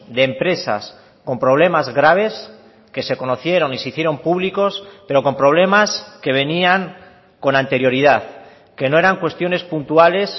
de empresas con problemas graves que se conocieron y se hicieron públicos pero con problemas que venían con anterioridad que no eran cuestiones puntuales